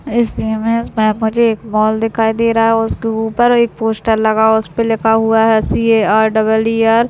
इस इमेज में मुझे एक मॉल दिखाई दे रहा है उस के ऊपर एक पोस्टर लगा है उसपे लिखा हुआ C A R double E R.